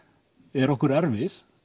eru okkur erfið